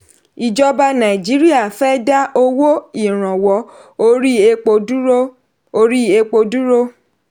ìjọba nàìjíríà fẹ́ dá owó ìrànwọ́ orí epo dúró. orí epo dúró.